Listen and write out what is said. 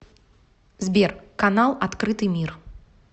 сбер канал открытый мир